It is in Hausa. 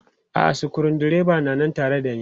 A'a sukuru dreban na nan tare da ne.